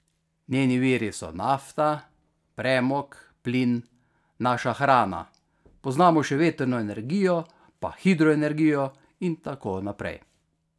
Njeni viri so nafta, premog, plin, naša hrana, poznamo še vetrno energijo pa hidroenergijo in tako naprej.